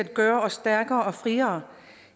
gøre os stærkere og friere